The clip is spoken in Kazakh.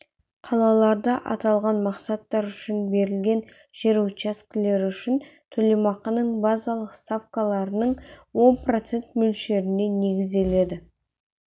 қалаларда аталған мақсаттар үшін берілген жер учаскелері үшін төлемақының базалық ставкаларының он процент мөлшеріне негізделе